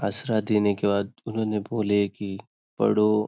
आसरा देने के बाद उन्होंने बोले की पढो--